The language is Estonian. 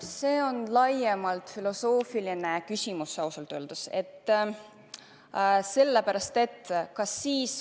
See on laiem filosoofiline küsimus.